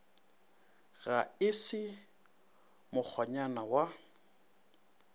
ge e se mokgonyana wa